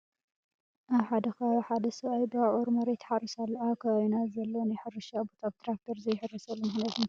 ኣብ ሓደ ከባቢ ሓደ ሰብኣይ ብኣብዑር መሬት ይሓርስ ኣሎ፡፡ ኣብ ከባቢና ዘሎ ናይ ሕርሻ ቦታ ብትራክተር ዘይሕረሰሉ ምኽንያት እንታይ እዩ?